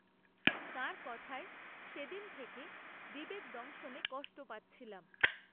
তাঁর কথায় সে দিন থেকে, বিবেক দংশনে কষ্ট পাচ্ছিলাম